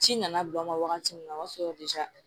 Ci nana bila n ma wagati min na o y'a sɔrɔ